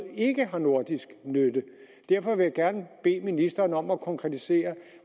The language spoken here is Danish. ikke har nordisk nytte derfor vil jeg gerne bede ministeren om at konkretisere